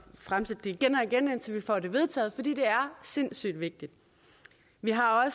fremsætte det igen og igen indtil vi får det vedtaget fordi det er sindssyg vigtigt vi har